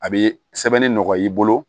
A bɛ sɛbɛnni nɔgɔya i bolo